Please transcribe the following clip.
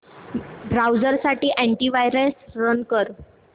browser साठी anti virus run कर